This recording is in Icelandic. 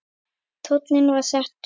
Tónninn var settur.